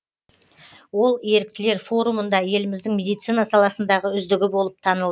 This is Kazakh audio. ол еріктілер форумында еліміздің медицина саласындағы үздігі болып танылды